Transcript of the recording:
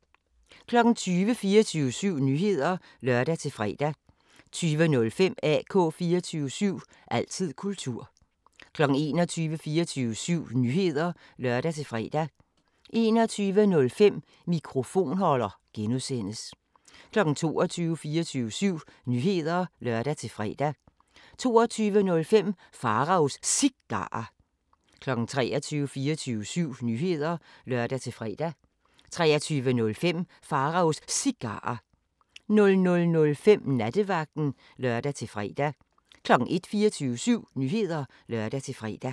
20:00: 24syv Nyheder (lør-fre) 20:05: AK 24syv – altid kultur 21:00: 24syv Nyheder (lør-fre) 21:05: Mikrofonholder (G) 22:00: 24syv Nyheder (lør-fre) 22:05: Pharaos Cigarer 23:00: 24syv Nyheder (lør-fre) 23:05: Pharaos Cigarer 00:05: Nattevagten (lør-fre) 01:00: 24syv Nyheder (lør-fre)